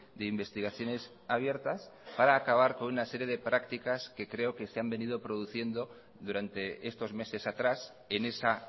de investigaciones abiertas para acabar con una serie de prácticas que creo que se han venido produciendo durante estos meses atrás en esa